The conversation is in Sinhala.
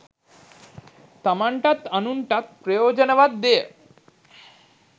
තමන්ටත්, අනුන්ටත් ප්‍රයෝජනවත් දේය.